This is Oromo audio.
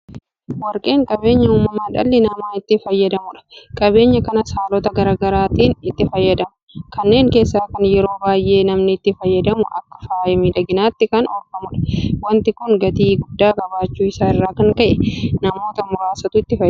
Warqeen qabeenya uumamaa dhalli namaa itti fayyadamudha. Qabeenya kanas haalota garaa garaatiin itti fayyadama. Kanneen keessaa kan yeroo baay'ee namni itti fayyadamu akka faaya miidhaginaatti kan oolfamudha. Waanti kun gatii guddaa qabaachuu isaa irraa kan ka'e namoota muraasatu itti fayyadama.